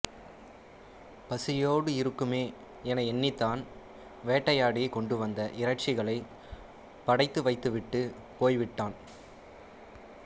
பசியோடு இருக்குமே என எண்ணித் தான் வேட்டையாடிக் கொண்டுவந்த இறைச்சிகளைப் படைத்து வைத்துவிட்டுப் போய்விட்டான்